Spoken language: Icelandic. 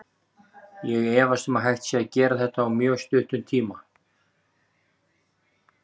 Ég efast um að hægt sé að gera þetta á mjög stuttum tíma.